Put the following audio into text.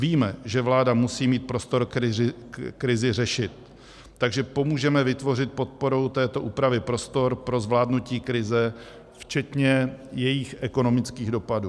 Víme, že vláda musí mít prostor krizi řešit, takže pomůžeme vytvořit podporou této úpravy prostor pro zvládnutí krize včetně jejích ekonomických dopadů.